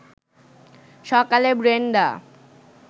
সকালে ব্রেনডা